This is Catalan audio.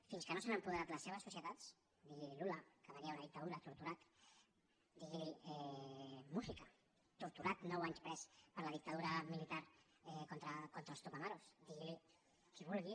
fins que no s’han apoderat de les seves societats diguili lula que venia d’una dictadura torturat diguili mújica torturat nou anys pres per la dictadura militar contra els tupamarosvulgui